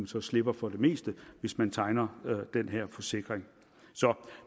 så slipper for det meste hvis man tegner den her forsikring så